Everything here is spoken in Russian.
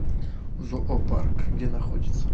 зоопарк где находится